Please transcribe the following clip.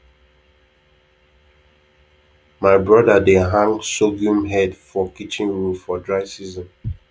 my brother dey hang sorghum head for kitchen roof for dry season